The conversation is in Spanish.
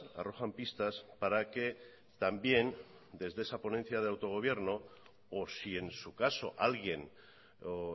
arrojan pistas para que también desde esa ponencia de autogobierno o si en su caso alguien o